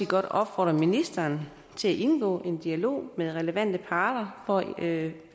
godt opfordre ministeren til at indgå i en dialog med relevante parter for at